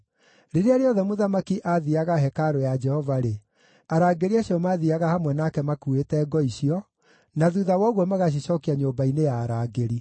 Rĩrĩa rĩothe mũthamaki aathiiaga hekarũ ya Jehova-rĩ, arangĩri acio maathiiaga hamwe nake makuuĩte ngo icio, na thuutha wa ũguo magacicookia nyũmba-inĩ ya arangĩri.